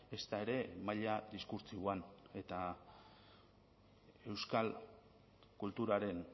ezta ere maila diskurtsiboan eta euskal kulturaren